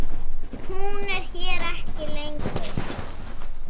Hún er hér ekki lengur.